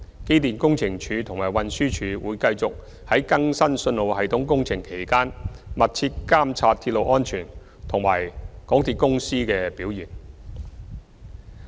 機電工程署及運輸署會繼續在更新信號系統工程期間密切監察鐵路安全及港鐵公司的表現。